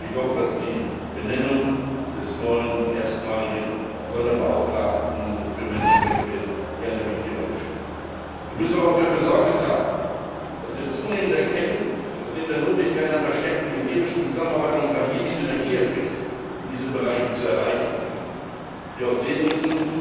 Ich hoffe, dass die Benennung des neuen Sonderbeauftragten für Menschenrechte hier eine wichtige Rolle spielt. Wir müssen aber auch dafür Sorge tragen, dass wir zunehmend erkennen, dass neben der Notwendigkeit einer verstärkten militärischen Zusammenarbeit, um gerade hier die Synergieeffekte in diesen Bereichen zu erreichen, wir auch sehen müssen,